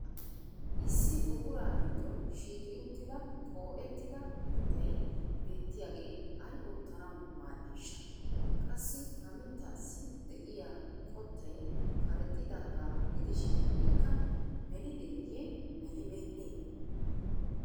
Issi buquraa giddon shiiqi uttida qoo'ettida mittay beettiyaagee ay oottanawu maaddiishsha? Qassi ha mittaassi de'iya qottay karexxiddaagaa gidishin ikka melideeyye melibeennee?